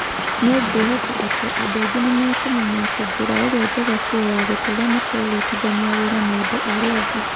Nĩ ngwĩhoka atĩ andũ aingĩ nĩ mekũmenya atĩ njĩra ĩrĩa njega biũ ya gũtũũra nĩ kũrutithania wĩra na andũ arĩa angĩ.